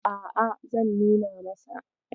A'a, zan nuna masa.